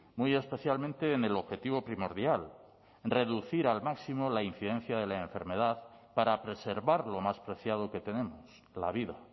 muy especialmente en el objetivo primordial reducir al máximo la incidencia de la enfermedad para preservar lo más preciado que tenemos la vida